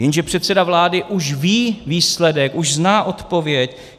Jenže předseda vlády už ví výsledek, už zná odpověď.